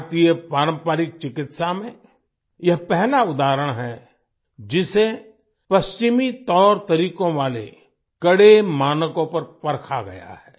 भारतीय पारंपरिक चिकित्सा में यह पहला उदाहरण है जिसे पश्चिमी तौरतरीकों वाले कड़े मानकों पर परखा गया है